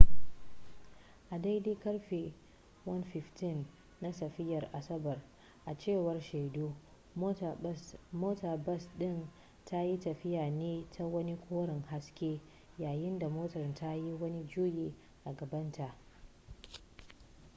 a daidai karfe 1:15 na safiyar asabar a cewar shaidu motar bas din na tafiya ne ta wani koren haske yayin da motar ta yi wani juyi a gabanta